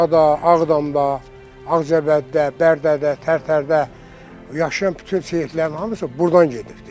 Şuşada, Ağdamda, Ağcabədidə, Bərdədə, Tərtərdə yaşayan bütün Seyidlərin hamısı burdan gedibdir.